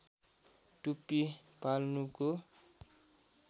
टुप्पी पाल्नुको